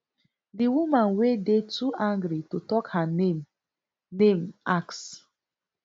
di woman wey dey too angry to tok her name name ask